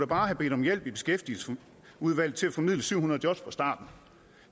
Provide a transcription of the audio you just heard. bare have bedt om hjælp i beskæftigelsesudvalget til at formidle syv hundrede jobs fra starten